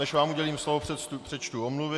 Než vám udělím slovo, přečtu omluvy.